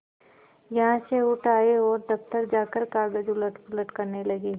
यहाँ से उठ आये और दफ्तर जाकर कागज उलटपलट करने लगे